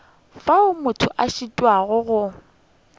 fao motho a šitwago go